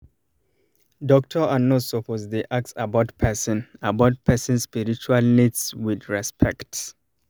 doctor and nurse suppose dey ask about person about person spiritual needs with respect